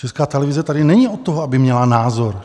Česká televize tady není od toho, aby měla názor.